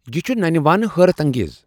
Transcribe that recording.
یہ چُھ ننہ وانہٕ حٲرت انگیز۔